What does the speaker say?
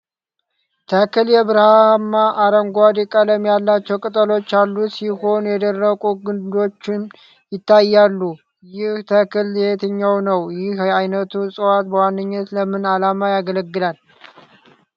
ተክል የብርማ-አረንጓዴ ቀለም ያላቸው ቅጠሎች ያሉት ሲሆን የደረቁ ግንዶችም ይታያሉ። ይህ ተክል የትኛው ነው? ይህ ዓይነቱ ዕፅዋት በዋነኛነት ለምን ዓላማ ያገለግላል?